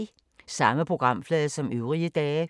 Samme programflade som øvrige dage